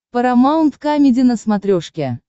парамаунт камеди на смотрешке